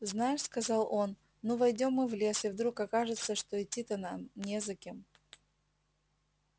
знаешь сказал он ну войдём мы в лес и вдруг окажется что идти-то не за кем